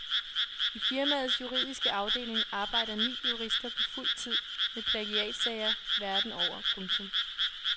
I firmaets juridiske afdeling arbejder ni jurister på fuldtid med plagiatsager verden over. punktum